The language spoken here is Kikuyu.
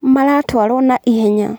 Maratwarwo na ihenya